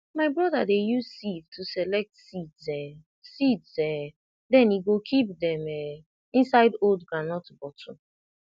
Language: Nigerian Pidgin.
my brother dey use sieve to select seeds um seeds um then he go keep dem um inside old groundnut bottle